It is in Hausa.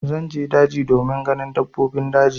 Zan je daji domin ganin dabbobin daji.